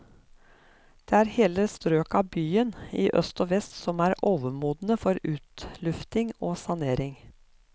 Det er hele strøk av byen, i øst og vest, som er overmodne for utlufting og sanering.